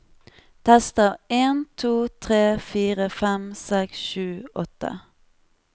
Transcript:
Tester en to tre fire fem seks sju åtte